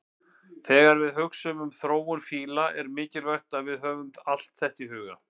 Þegar við hugsum um þróun fíla er mikilvægt að við höfum allt þetta í huga.